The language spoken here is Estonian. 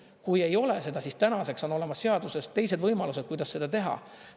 Kui ei ole seda, siis tänaseks on olemas seaduses teised võimalused, kuidas seda teha.